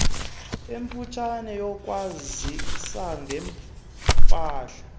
emfutshane yokwazisa ngempahla